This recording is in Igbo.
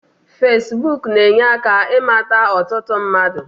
Fesibuk na-enye aka ịmata ọtụtụ mmadu